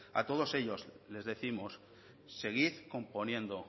a todos ellos les décimos seguid componiendo